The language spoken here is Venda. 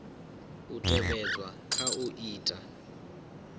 u tevhedzwa kha u ita